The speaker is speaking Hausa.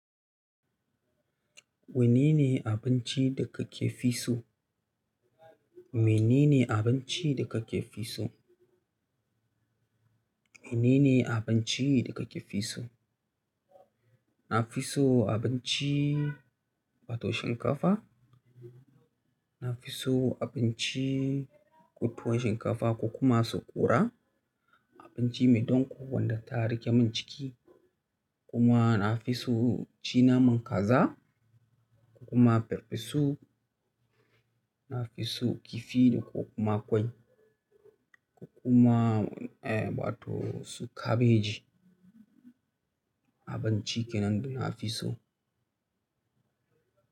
Wane ne abinci da ka ke fi so? Wane ne abinci da ka ke fi so? Wane ne abinci da ka ke fi so? Na fi so abinci, waton shinkafa. Na fi so abinci, waton shinkafa ko kuma saƙura. Abinci mai donko wanda ta rike min ciki. Kuma na fi so ci naman kaza ko kuma pepisu. Na fi so kifi ko kuma kwai ko kuma, eh, waton su kabeji. Abinci kenan da na fi so.